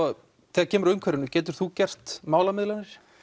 þegar kemur að umhverfinu getur þú gert málamiðlanir